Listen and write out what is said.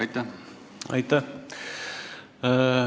Aitäh!